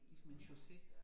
Ligesom en chaussé